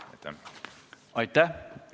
Aitäh!